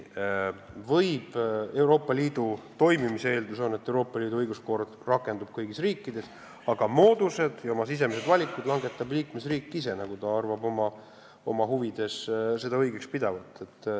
Euroopa Liidu toimimise eeldus on, et Euroopa Liidu õiguskord rakendub kõigis riikides, aga moodused valib ja oma sisemised valikud langetab liikmesriik ise, nagu ta oma huvides seda õigeks peab.